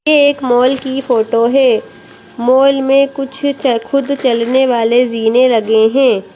ये एक मॉल की फोटो है मॉल में कुछ च खुद चलने वाले जीने लगे हैं।